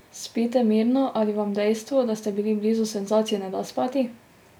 Spite mirno ali vam dejstvo, da ste bili blizu senzaciji, ne da spati?